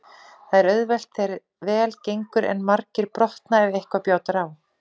Það er auðvelt þegar vel gengur en margir brotna ef eitthvað bjátar á.